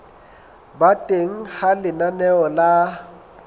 ba teng ha lenaneo la